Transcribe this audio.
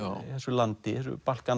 landi þessu